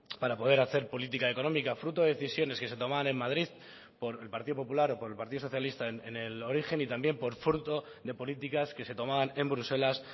para poder hacer política económica fruto de decisiones que se toman en madrid por el partido popular o por el partido socialista en el origen y también por fruto de políticas que se tomaban en bruselas